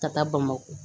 Ka taa bamakɔ